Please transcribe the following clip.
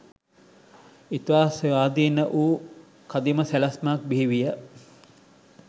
ඉතා ස්වාධීන වූ කදිම සැලැස්මක් බිහිවිය.